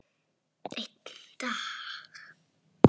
Einn dag!